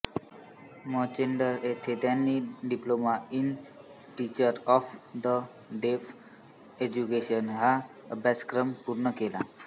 Manchester येथे त्यांनी diploma in teacher of the deaf education हा अभ्यासक्रम पूर्ण केला